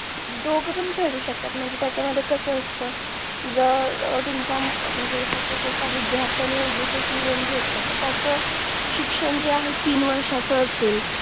दोघे पण फेडू शकतात म्हणजे त्याचा मध्ये कस असत जर तुम्हाचा म्हणजे suppose एका विद्यार्थाने education loan घेतलेलं तर त्याच शिक्षण जे आहे तीन वर्षाचं असेल